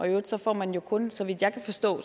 øvrigt får man kun så vidt jeg kan forstå